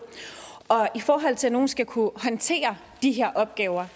og i forhold til at nogen skal kunne håndtere de her opgaver